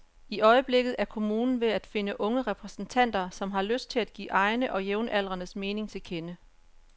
I øjeblikket er kommunen ved at finde unge repræsentanter, som har lyst til at give egne og jævnaldrendes mening til kende.